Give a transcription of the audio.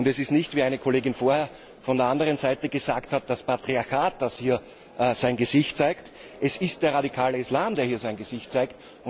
Es ist nicht, wie eine Kollegin vorher von einer anderen Seite gesagt hat, das Patriarchat, das hier sein Gesicht zeigt, es ist der radikale Islam, der hier sein Gesicht zeigt.